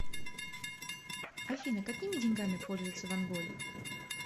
афина какими деньгами пользуются в анголе